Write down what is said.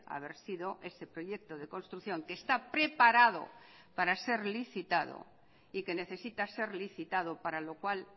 a ver sido ese proyecto de construcción que está preparado para ser licitado y que necesita ser licitado para lo cual